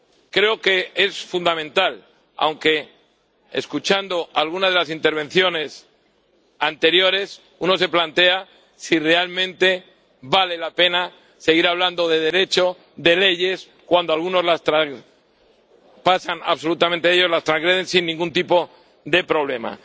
Creo que es fundamental, aunque, escuchando alguna de las intervenciones anteriores, uno se plantea si realmente vale la pena seguir hablando de Derecho, de leyes, cuando algunos pasan absolutamente de ellas, las transgreden sin ningún tipo de problema.